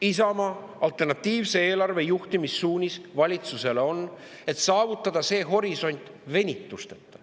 Isamaa alternatiivse eelarve juhtimissuunis valitsusele on, et saavutada see horisont venitusteta.